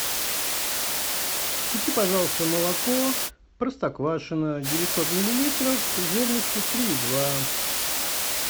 купи пожалуйста молоко простоквашино девятьсот миллилитров жирностью три и два